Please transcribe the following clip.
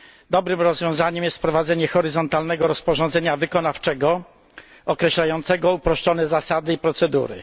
Dobrym rozwiązaniem jest wprowadzenie horyzontalnego rozporządzenia wykonawczego określającego uproszczone zasady i procedury.